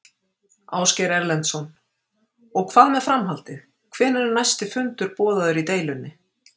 Ásgeir Erlendsson: Og hvað með framhaldið, hvenær er næsti fundur boðaður í deilunni?